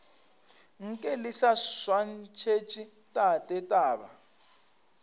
nke le swantšhetše tate taba